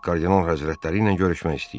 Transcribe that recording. Kardinal həzrətləri ilə görüşmək istəyir.